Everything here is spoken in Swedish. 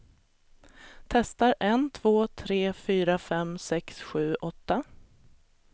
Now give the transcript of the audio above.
Testar en två tre fyra fem sex sju åtta.